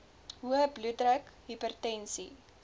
hoë bloeddruk hipertensie